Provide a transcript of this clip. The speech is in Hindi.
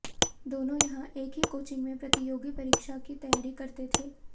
दोनों यहां एक ही कोचिंग में प्रतियोगी परीक्षा की तैयारी करते थे